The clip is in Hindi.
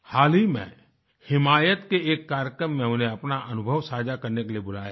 हाल ही में हिमायत के एक कार्यक्रम में उन्हें अपना अनुभव साझा करने के लिए बुलाया गया